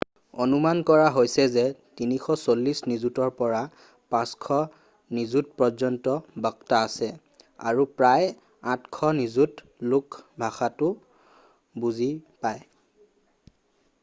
অনুমান কৰা হৈছে যে 340 নিযুতৰ পৰা 500 নিযুতপৰ্যন্ত বক্তা আছে আৰু প্ৰায় 800 নিযুত লোকে ভাষাটো বুজি পায়